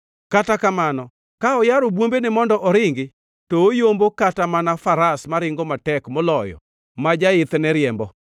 Kata kamano ka oyaro bwombene mondo oringi, to oyombo kata mana faras maringo matek moloyo ma jaithne riembo.